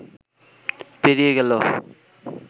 পেরিয়ে গেল